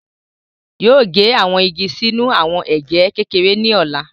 Yoo ge awọn igi sinu awọn ege kekere ni ọla